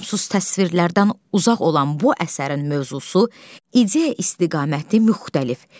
Lüzumsuz təsvirlərdən uzaq olan bu əsərin mövzusu ideya istiqaməti müxtəlif,